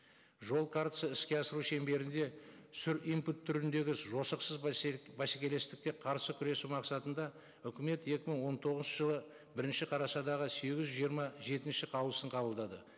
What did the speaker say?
жол картасы іске асыру шеңберінде импорт түріндегі жосықсыз бәсекелестікке қарсы күресу мақсатында үкімет екі мың он тоғызыншы жылы бірінші қарашадағы сегіз жүз жиырма жетінші қаулысын қабылдады